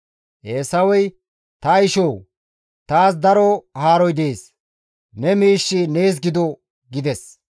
Eesawey, «Ta ishoo! Taas daro haaroy dees; ne miishshi nees gido» gides.